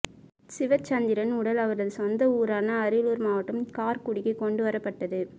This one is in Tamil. சிவச்சந்திரன் உடல் அவரது சொந்த ஊரான அரியலூர் மாவட்டம் கார்குடிக்கு கொண்டு வரப்பட்டது